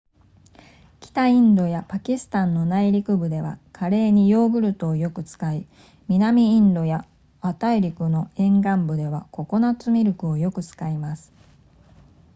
北インドやパキスタンの内陸部ではカレーにヨーグルトをよく使い南インドや亜大陸の沿岸部ではココナッツミルクをよく使います